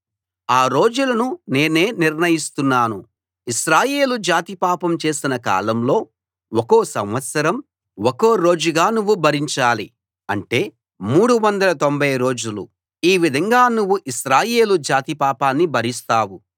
ఆ రోజులను నేనే నిర్ణయిస్తున్నాను ఇశ్రాయేలు జాతి పాపం చేసిన కాలంలో ఒక్కో సంవత్సరం ఒక్కో రోజుగా నువ్వు భరించాలి అంటే 390 రోజులు ఈ విధంగా నువ్వు ఇశ్రాయేలు జాతి పాపాన్ని భరిస్తావు